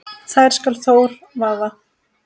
þær skal Þór vaða